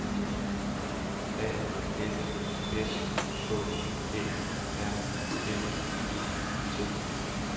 A F S K Æ R M E T